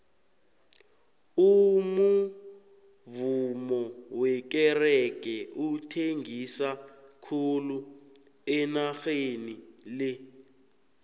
umuvummo wekerege uthengisa khulu enageni le